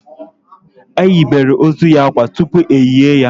E yibere ozu ya akwa tupu e lié ya